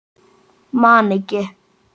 Man ekki.